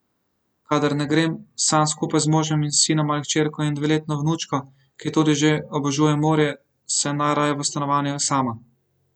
Kadar ne grem sem skupaj z možem in sinom ali hčerko in dveletno vnučko, ki tudi že obožuje morje, sem najraje v stanovanju sama.